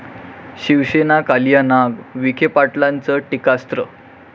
शिवसेना कालिया नाग, विखे पाटलांचं टीकास्त्र